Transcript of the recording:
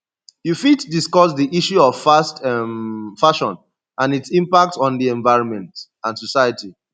you fit discuss di issue of fast um fashion and its impact on di environment and society